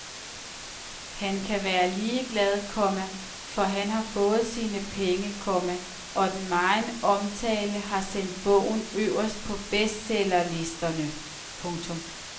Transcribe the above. Han kan være ligeglad, komma for han har fået sine penge, komma og den megen omtale har sendt bogen øverst på bestsellerlisterne. punktum